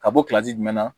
Ka bɔ jumɛn na